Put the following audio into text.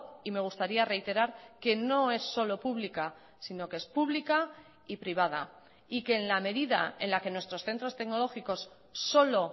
y me gustaría reiterar que no es solo pública sino que es pública y privada y que en la medida en la que nuestros centros tecnológicos solo